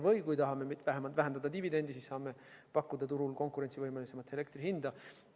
Või kui me tahame dividende vähendada, siis saame pakkuda turul konkurentsivõimelisemat elektrihinda.